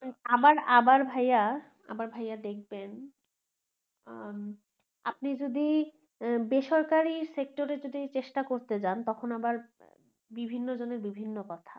আবার আবার ভাইয়া আবার ভাইয়া দেখবেন উম আপনি যদি বেসরকারি sector এ যদি চেষ্টা করতে যান তখন আবার বিভিন্ন জনের বিভিন্ন কথা